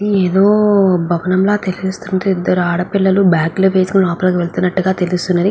ఏదో భవనం ల తెల్లుస్తుంది ఇద్దరు ఆడ పిల్లలు బ్యాగులు వేసుకొని లోపలి కి వెళ్తున్నట్టుగ తెలుస్తున్నది.